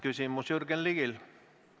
Küsimus on Jürgen Ligil.